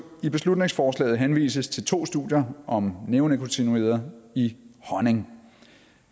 i beslutningsforslaget henvises til to studier om neonikotinoider i honning